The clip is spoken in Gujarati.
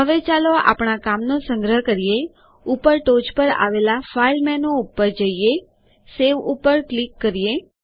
હવે ચાલો આપણા કામનો સંગ્રહ કરીએઉપર ટોચે આવેલા ફાઇલ menuફાઈલ મેનુ ઉપર જઈએSaveસેવ ઉપર ક્લિક કરીએ